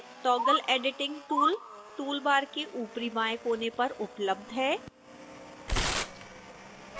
toggle editing tool tool bar के ऊपरीबाएं कोने पर उपलब्ध है